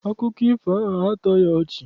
Akụkọ ifo ahụ a tọghị ọchị.